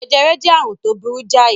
Jẹjẹrẹ jẹ́ àrùn tó burú jáì.